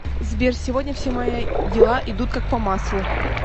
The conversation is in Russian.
сбер сегодня все мои дела идут как по маслу